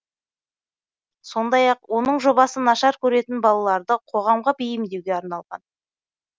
сондай ақ оның жобасы нашар көретін балаларды қоғамға бейімдеуге арналған